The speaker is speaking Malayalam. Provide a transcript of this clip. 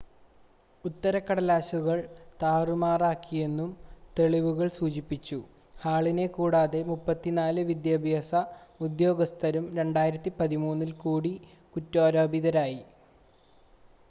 ഉത്തരക്കടലാസുകൾ താറുമാറാക്കിയെന്നും തെളിവുകൾ സൂചിപ്പിച്ചു ഹാളിനെ കൂടാതെ 34 വിദ്യാഭ്യാസ ഉദ്യോഗസ്ഥരും 2013-ൽ കൂടി കുറ്റാരോപിതരായി